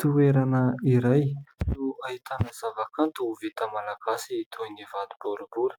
Toerana iray no ahitana zava-kanto vita malagasy toy ny vato-boribory .